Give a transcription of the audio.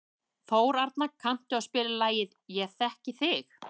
Þórarna, kanntu að spila lagið „Ég þekki þig“?